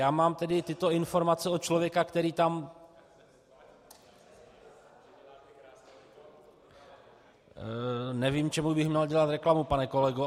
Já mám tedy tyto informace od člověka, který tam - Nevím, čemu bych měl dělat reklamu, pane kolego.